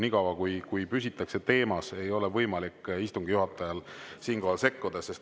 Nii kaua, kui püsitakse teemas, ei ole istungi juhatajal võimalik siinkohal sekkuda.